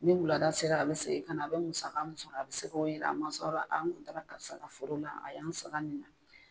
Ni wulada sera a bɛ segin ka na, a bɛ musaka mun sɔrɔ a bɛ se k'o yira a mansaw la, n kun taara karisa ka foro la a y'an sara nin na.